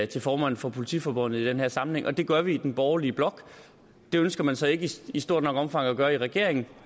til formanden for politiforbundet i den her sammenhæng det gør vi i den borgerlige blok det ønsker man så ikke i stort nok omfang at gøre i regeringen